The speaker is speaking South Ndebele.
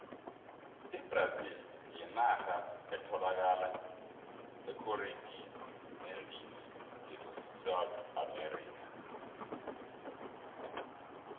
ibrazili yinarha etholaka ekhoriti neendini yesouth america